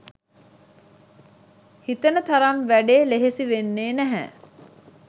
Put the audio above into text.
හිතන තරම් වැඩේ ලෙහෙසි වෙන්නේ නැහැ